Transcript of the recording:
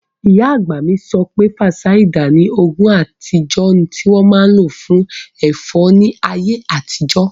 Ìyá àgbà mi sọ pé, fansáídà ni oògùn àtijọ́ tí wọ́n máa n lò fún ẹ̀fọ́rí ní àwọn ayé àtijọ́